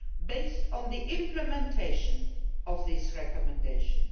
scheme based on the implementation of these recommendations.